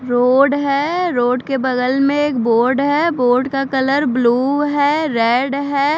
Road है road के बगल में एक बोर्ड है बोर्ड का कलर ब्लू है रेड है।